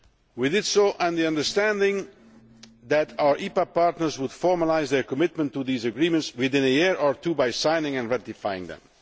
We did so on the understanding that our EPA partners would formalise their commitment to these agreements within a year or two by signing and ratifying them.